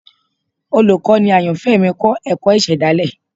Olukọni ayanfẹ mi kọ ẹkọ isedale